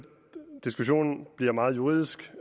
diskussionen bliver meget juridisk